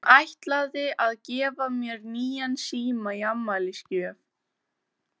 Hún ætlar að gefa mér nýjan síma í afmælisgjöf.